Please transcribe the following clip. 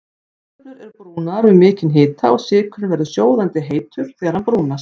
Kartöflur eru brúnaðar við mikinn hita og sykurinn verður sjóðandi heitur þegar hann brúnast.